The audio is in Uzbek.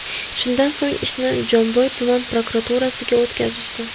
Shundan so‘ng ishni Jomboy tuman prokuraturasiga o‘tkazishdi.